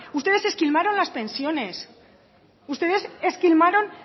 ustedes esquilmaron las pensiones ustedes esquilmaron